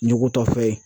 Ɲugutɔ fɛn ye